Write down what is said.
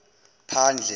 phandle